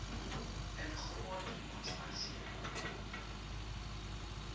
and groot constantia